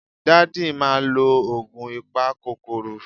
Daddy ma lo oogun ipakokoro